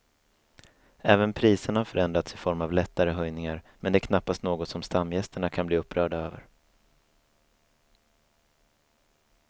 Även priserna har förändrats i form av lättare höjningar men det är knappast något som stamgästerna kan bli upprörda över.